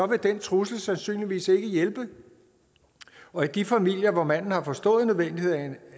vil den trussel sandsynligvis ikke hjælpe og i de familier hvor manden har forstået nødvendigheden